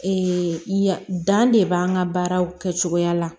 ya dan de b'an ka baaraw kɛcogoya la